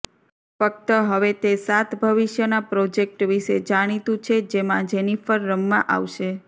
ફક્ત હવે તે સાત ભવિષ્યના પ્રોજેક્ટ વિશે જાણીતું છે જેમાં જેનિફર રમવા આવશે